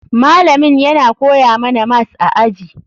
Malamin yana koya mana mas a aji.